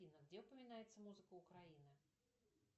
афина где упоминается музыка украина